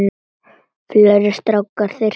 Fleiri strákar þyrpast að.